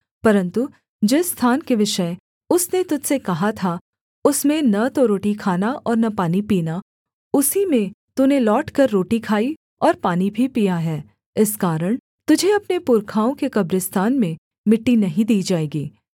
परन्तु जिस स्थान के विषय उसने तुझ से कहा था उसमें न तो रोटी खाना और न पानी पीना उसी में तूने लौटकर रोटी खाई और पानी भी पिया है इस कारण तुझे अपने पुरखाओं के कब्रिस्तान में मिट्टी नहीं दी जाएगी